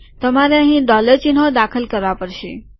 તમારે અહીં ડોલર ચિહ્નો દાખલ કરવા પડશે